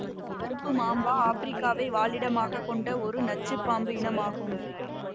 கருப்பு மாம்பா ஆப்பிரிக்காவை வாழிடமாகக் கொண்ட ஒரு நச்சு பாம்பு இனம் ஆகும்